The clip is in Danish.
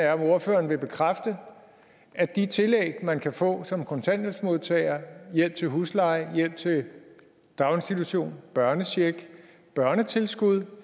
er om ordføreren vil bekræfte at de tillæg man kan få som kontanthjælpsmodtager hjælp til husleje hjælp til daginstitution børnecheck børnetilskud